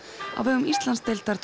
á vegum Íslandsdeildar